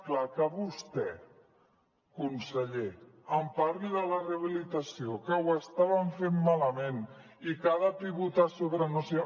clar que vostè conseller em parli de la rehabilitació que ho estàvem fent malament i que ha de pivotar sobre no sé